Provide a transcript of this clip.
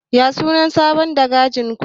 Ya sunan sabon dagacin ku?